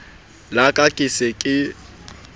la ka ke se ke